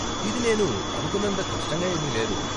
ఇది నేను అనుకున్నంత కష్టంగా ఏమీ లేదు.